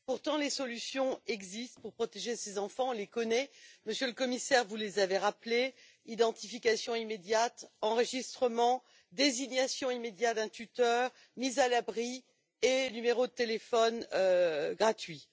Pourtant, les solutions existent pour protéger ces enfants. On les connaît et, Monsieur le Commissaire, vous les avez rappelées identification immédiate, enregistrement, désignation immédiate d'un tuteur, mise à l'abri et numéro de téléphone gratuit.